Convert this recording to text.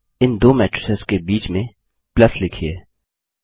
इन दो मैट्रिसेस के बीच में प्लस लिखिए